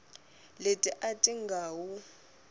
leti a ti nga wu